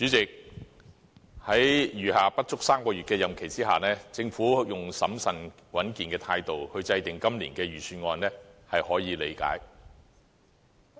主席，在餘下不足3個月的任期之下，政府用審慎穩健的態度，制訂今年的財政預算案，是可以理解的。